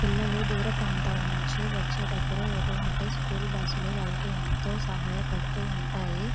పిల్లలు దురా ప్రాంతాల నుండి వచ్చేటప్పుడు ఇటు వంటి స్కూల్ బుస్స్ లు వల్కి ఎంతో సహాయ పడుతూ ఉంటాయి.